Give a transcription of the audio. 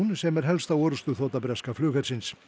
sem er helsta orrustuþota breska flughersins